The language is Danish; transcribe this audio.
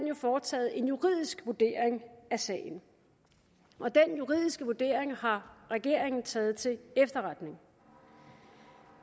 jo foretaget en juridisk vurdering af sagen og den juridiske vurdering har regeringen taget til efterretning